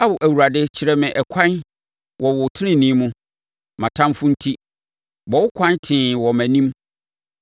Ao Awurade kyerɛ me ɛkwan wɔ wo tenenee mu mʼatamfoɔ enti, bɔ wo kwan tee wɔ mʼanim.